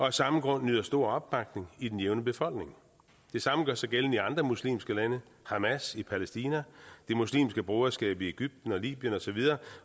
af samme grund nyder stor opbakning i den jævne befolkning det samme gør sig gældende i andre muslimske lande hamas i palæstina det muslimske broderskab i egypten og libyen og så videre